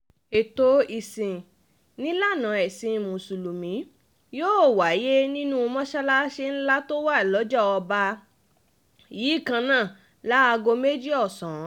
ètò ìsìn nílànà ẹ̀sìn mùsùlùmí yóò wáyé nínú mọ́ṣáláṣí ńlá tó wà lọ́jà ọba yìí kan náà láago méjì ọ̀sán